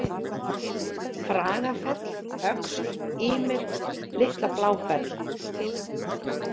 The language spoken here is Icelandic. Fragafell, Öxl, Ýmir, Litla-Bláfell